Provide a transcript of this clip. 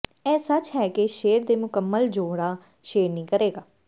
ਇਹ ਸੱਚ ਹੈ ਕਿ ਸ਼ੇਰ ਦੇ ਮੁਕੰਮਲ ਜੋੜਾ ਸ਼ੇਰਨੀ ਕਰੇਗਾ